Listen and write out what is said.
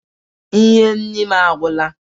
Ihe nri m agwụla